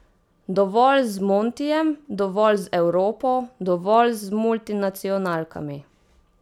Dovolj z Montijem, dovolj z Evropo, dovolj z multinacionalkami.